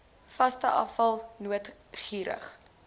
vaste afval noodgeriewe